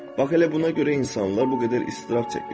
Bax elə buna görə insanlar bu qədər istirab çəkir.